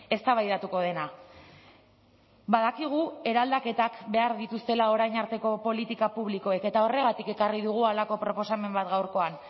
eztabaidatuko dena badakigu eraldaketak behar dituztela orain arteko politika publikoek eta horregatik ekarri dugu halako proposamen bat gaurkoan